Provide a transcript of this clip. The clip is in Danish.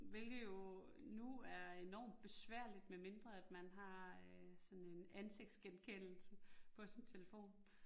Hvilket jo nu er enormt besværligt medmindre at man har øh sådan en ansigtsgengenkendelse på sin telefon